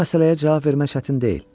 Bu məsələyə cavab vermək çətin deyil.